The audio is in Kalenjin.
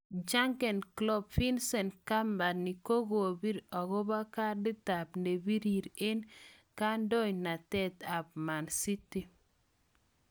Jurgen Klopp. Vincent kompany kokopir ogo kadit ap nepirir en ngandonatet ap man city